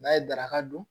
N'a ye daraka dun